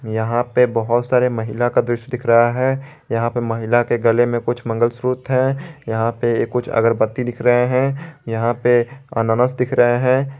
यहां पर बहुत सारे महिला का दृश्य दिख रहा है यहां पर महिला के गले में कुछ मंगलसूत्र है यहां पे कुछ अगरबत्ती दिख रहे हैं यहां पे अनानास दिख रहे हैं ।